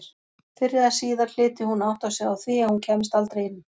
Fyrr eða síðar hlyti hún að átta sig á því að hún kæmist aldrei inn.